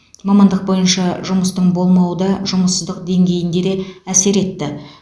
мамандық бойынша жұмыстың болмауы да жұмыссыздық деңгейінде де әсер етті